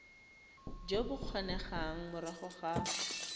jo bo kgonegang morago ga